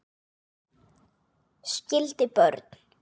Skildi börn.